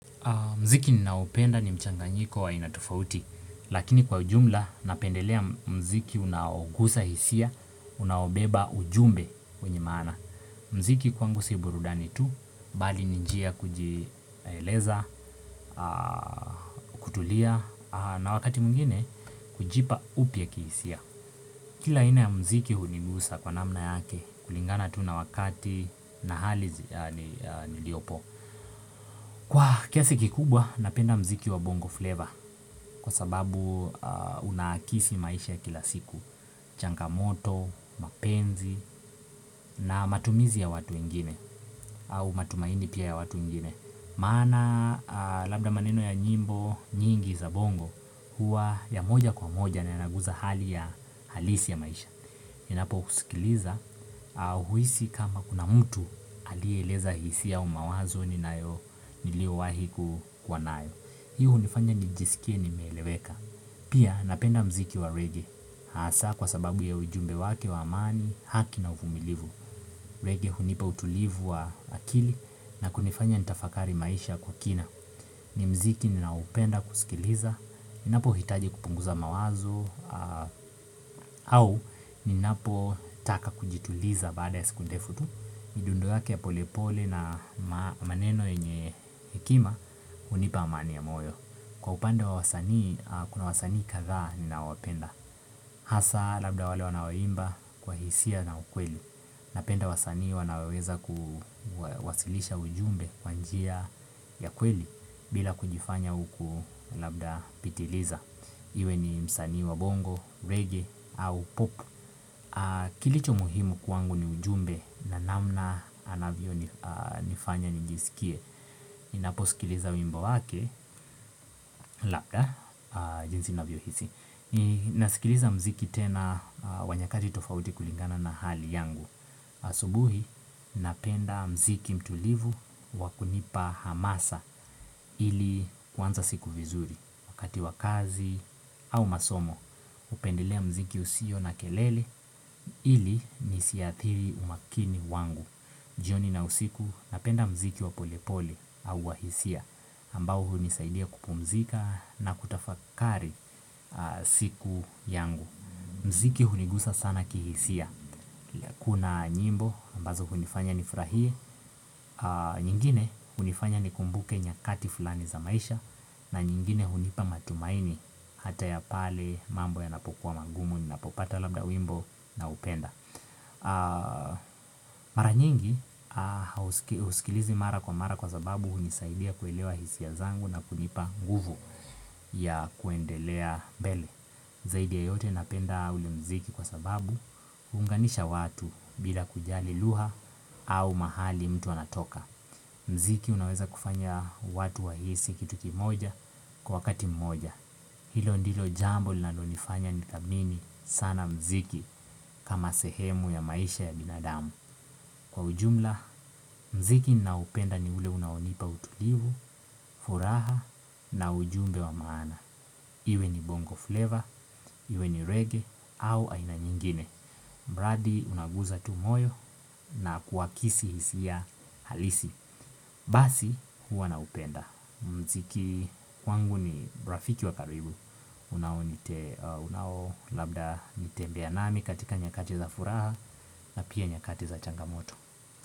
Mziki ninaupenda ni mchanganyiko wa aina tofauti, lakini kwa ujumla napendelea mziki unaogusa hisia, unaobeba ujumbe kwenye maana. Mziki kwangu si burudani tu, bali ni njia kujieleza, kutulia, na wakati mwingine kujipa upya kihisia. Kila aina ya mziki hunigusa kwa namna yake kulingana tu na wakati na hali niliopo. Kwa kiasi kikubwa napenda mziki wa bongo flavor kwa sababu unaakisi maisha ya kila siku Channamoto, mapenzi na matumizi ya watu wengine au matumaini pia ya watu wengine Maana labda maneno ya nyimbo nyingi za bongo huwa ya moja kwa moja na inaguza hali ya halisi ya maisha Ninapo usikiliza au huisi kama kuna mtu alieleza hisia au mawazo ni nilio wahi kuwa nayo Hii hunifanya nijisikie nimeeleweka Pia napenda mziki wa regae Haasa kwa sababu ya ujumbe wake wa amani haki na uvumilivu Rege hunipa utulivu wa akili na kunifanya nitafakari maisha kwa kina ni mziki ninaupenda kusikiliza Ninapo hitaji kupunguza mawazo au ninapo taka kujituliza baada ya siku ndefu tu midundo yake ya pole pole na maneno yenye hekima hunipa amani ya moyo Kwa upande wa wasanii kuna wasanii kadhaa ni nawapenda Hasa labda wale wanaoimba kwa hisia na ukweli Napenda wasanii wanaoweza kuwasilisha ujumbe kwa njia ya kweli bila kujifanya huku labda pitiliza Iwe ni msanii wa bongo, reggae au pop Kilicho muhimu kwangu ni ujumbe na namna anavyo nifanya nijisikie Ninaposikiliza wimbo wake, labda jinsi navyo hisi Ninasikiliza mziki tena wa nyakati tofauti kulingana na hali yangu asubuhi napenda mziki mtulivu wa kunipa hamasa ili kuanza siku vizuri Wakati wa kazi au masomo hupendelea mziki usio na kelele ili nisiathiri umakini wangu jioni na usiku napenda mziki wa polepole au wa hisia ambao hunisaidia kupumzika na kutafakari siku yangu mziki hunigusa sana kihisia kuna nyimbo ambazo hunifanya nifurahie nyingine hunifanya ni kumbuke nyakati fulani za maisha na nyingine hunipa matumaini Hata ya pale mambo yanapokuwa magumu Ninapopata labda wimbo na upenda Mara nyingi uskilizi mara kwa mara kwa sababu unisaidia kuelewa hisia zangu na kunipa nguvu ya kuendelea mbele Zaidi ya yote napenda ule mziki kwa sababu unganisha watu bila kujali lugha au mahali mtu anatoka mziki unaweza kufanya watu wahisi kitu kimoja kwa wakati mmoja. Hilo ndilo jambo lina lonifanya nithamini sana mziki kama sehemu ya maisha ya binadamu. Kwa ujumla, mziki nao upenda ni ule unaonipa utulivu, furaha na ujumbe wa maana. Iwe ni bongo flavor, iwe ni reggae au aina nyingine. Mradi unaguza tu moyo na kuwakisi hisia halisi. Basi huwa na upenda. Mziki kwangu ni rafiki wa karibu unao labda nitembea nami katika nyakati za furaha na pia nyakati za changamoto.